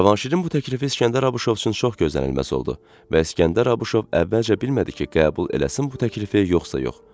Cavanşirin bu təklifi İskəndər Abuşov üçün çox gözlənilməz oldu və İskəndər Abuşov əvvəlcə bilmədi ki, qəbul eləsin bu təklifi yoxsa yox.